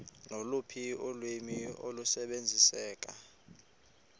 loluphi ulwimi olusebenziseka